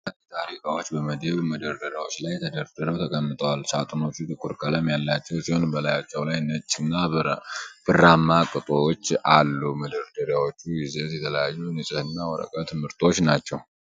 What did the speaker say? የሳኒታሪ ዕቃዎች በመደብር መደርደሪያዎች ላይ ተደራርበው ተቀምጠዋል። ሳጥኖቹ ጥቁር ቀለም ያላቸው ሲሆን፣ በላያቸው ላይ ነጭ እና ብርማ ቅጦች አሉ። የመደርደሪያዎቹ ይዘት የተለያዩ የንጽህና ወረቀት ምርቶች ናቸው፡፡